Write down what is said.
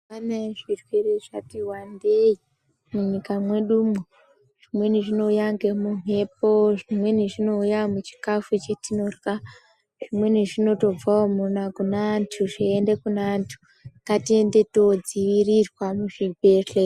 Pane zvirwere zvati wandei munyika mwedumwo. Zvimweni zvinouya ngemumhepo, zvimweni zvinouya muchikafu chatinorya. Zvimweni zvinotobvawo kune antu zveiende kune antu. Ngatiende toodziirirwa muzvibhehle...